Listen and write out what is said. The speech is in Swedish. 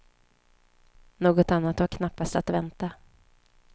Något annat var knappast att vänta.